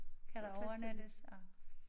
Kan der overnattes og